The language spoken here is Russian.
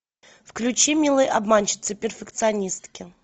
включи милые обманщицы перфекционистки